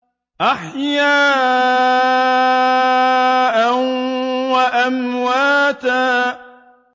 أَحْيَاءً وَأَمْوَاتًا